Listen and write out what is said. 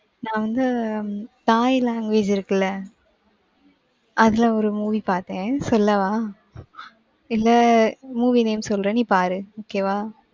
நா வந்து, உம் thai language இருக்குல்ல? அதுல ஒரு movie பாத்தேன், சொல்லவா? இல்ல, movie name சொல்றேன், நீ பாரு. okay வா?